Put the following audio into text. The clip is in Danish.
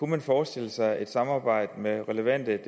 man forestille sig et samarbejde med relevante